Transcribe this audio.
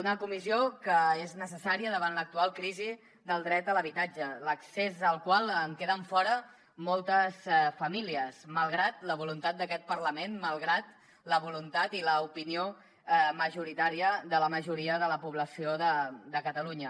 una comissió que és necessària davant l’actual crisi del dret a l’habitatge de l’accés al qual en queden fora moltes famílies malgrat la voluntat d’aquest parlament malgrat la voluntat i l’opinió majoritària de la majoria de la població de catalunya